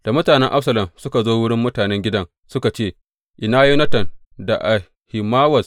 Da mutanen Absalom suka zo wurin matan a gidan, suka ce, Ina Yonatan da Ahimawaz?